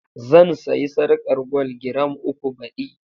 Zan sayi sarƙar gwal giram uku baɗi.